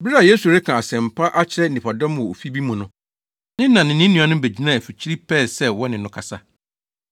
Bere a Yesu reka asɛmpa akyerɛ nnipadɔm wɔ ofi bi mu no, ne na ne ne nuanom begyinaa afikyiri pɛɛ sɛ wɔne no kasa.